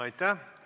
Aitäh!